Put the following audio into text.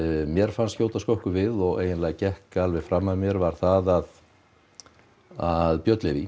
mér fannst skjóta skökku við og gekk alveg fram að mér var að að Björn Leví